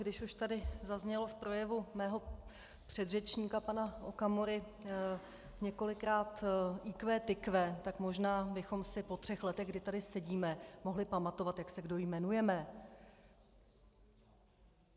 Když už tady zaznělo v projevu mého předřečníka pana Okamury několikrát IQ tykve, tak možná bychom si po třech letech, kdy tady sedíme, mohli pamatovat, jak se kdo jmenujeme.